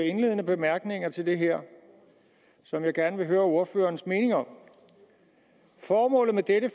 indledende bemærkninger til det her som jeg gerne vil høre ordførerens mening om formålet med dette